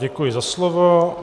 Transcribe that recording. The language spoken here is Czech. Děkuji za slovo.